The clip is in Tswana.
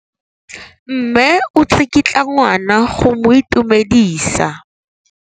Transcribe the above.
Mme o tsikitla ngwana go mo itumedisa.